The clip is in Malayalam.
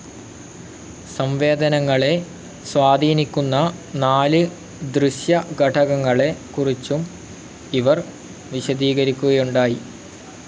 സംവേദനങ്ങളെ സ്വാധീനിക്കുന്ന നാല് ദൃശ്യഘടകങ്ങളെ കുറിച്ചും ഇവർ വിശദീകരിക്കുകയുണ്ടായി.